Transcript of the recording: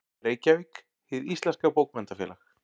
Reykjavík: Hið íslenska Bókmenntafélag.